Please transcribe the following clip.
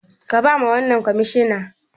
Ka bawa wannan kwamishina